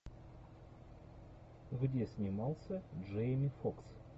где снимался джейми фокс